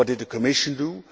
What did the Commission do?